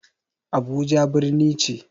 Abuja birni ce.